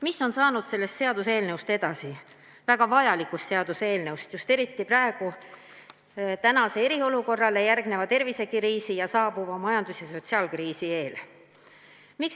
Mis on saanud sellest väga vajalikust seaduseelnõust edasi, eriti praegu, tänasele eriolukorrale järgneva tervisekriisi ning saabuva majandus- ja sotsiaalkriisi eel?